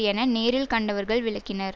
என நேரில் கண்டவர்கள் விளக்கினர்